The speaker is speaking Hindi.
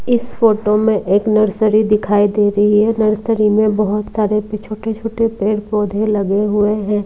इस फोटो में एक नर्सरी दिखाई दे रही है नर्सरी में बहुत सारे पि छोटे छोटे पेड़ पौधे लगे हुए हैं।